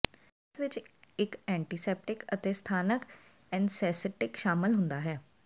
ਇਸ ਵਿੱਚ ਇੱਕ ਐਂਟੀਸੈਪਟਿਕ ਅਤੇ ਸਥਾਨਕ ਐਨਸੈਸਟੀਟਿਕ ਸ਼ਾਮਲ ਹੁੰਦਾ ਹੈ